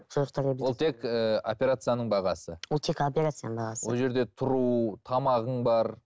ол тек ііі операцияның бағасы ол тек операцияның бағасы ол жерде тұру тамағың бар